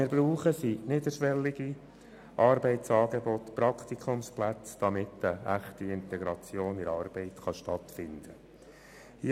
Wir brauchen niederschwellige Arbeitsangebote und Praktikumsplätze, damit eine echte Integration in die Arbeit stattfinden kann.